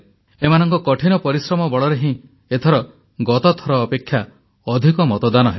ଏମାନଙ୍କ କଠିନ ପରିଶ୍ରମ ବଳରେ ହିଁ ଏଥର ଗତଥର ଅପେକ୍ଷା ଅଧିକ ମତଦାନ ହେଲା